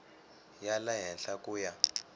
ya le henhla ku ya